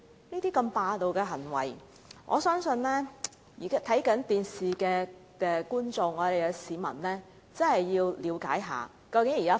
如此霸道的行為，我相信正在收看直播的市民必須了解一下現正的情況。